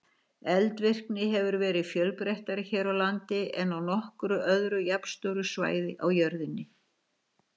Eldvirkni hefur verið fjölbreyttari hér á landi en á nokkru öðru jafnstóru svæði á jörðinni.